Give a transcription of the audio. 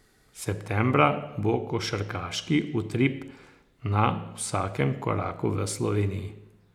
Septembra bo košarkarski utrip na vsakem koraku v Sloveniji.